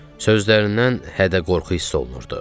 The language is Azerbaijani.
Sözlərindən hədə-qorxu hissi olunurdu.